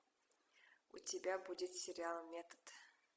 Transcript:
у тебя будет сериал метод